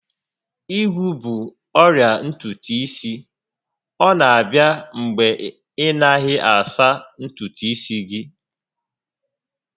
Ígwú bụ ọrịa ntutu isi, ọ na abịa mgbe ị naghị asa ntutu isi gị